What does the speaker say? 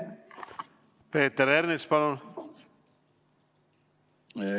Peeter Ernits, palun!